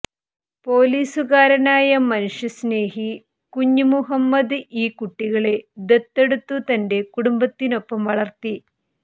പൊലീസ്കാരനായ മനുഷ്യസ്നേഹി കുഞ്ഞ് മുഹമ്മദ് ഈ കുട്ടികളെ ദത്തെടുത്തു തന്റെ കുടുംബത്തിനൊപ്പം വളര്ത്തി